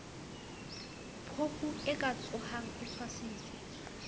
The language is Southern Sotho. phofue ka tshohang e tshwasitswe